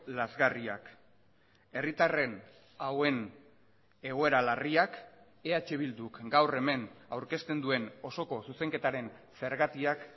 lazgarriak herritarren hauen egoera larriak eh bilduk gaur hemen aurkezten duen osoko zuzenketaren zergatiak